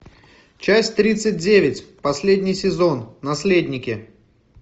часть тридцать девять последний сезон наследники